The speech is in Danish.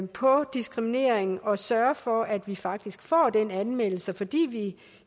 på diskrimineringen og at sørge for at vi faktisk får de anmeldelser fordi vi